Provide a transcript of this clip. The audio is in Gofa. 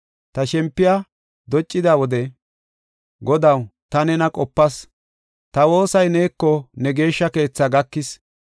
Ta shempiya doccida wode, Godaw ta nena qopas; ta woosay neeko ne Geeshsha keethaa gakis.